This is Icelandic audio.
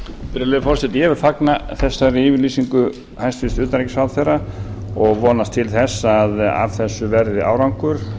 virðulegi forseti ég vil fagna þessari yfirlýsingu hæstvirts utanríkisráðherra og vonast til þess að af þessu verði árangur